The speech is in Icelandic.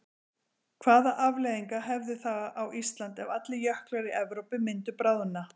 Hvaða afleiðingar hefði það á Ísland ef allir jöklar í Evrópu myndu bráðna?